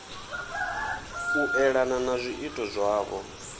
u elana na zwiito zwavho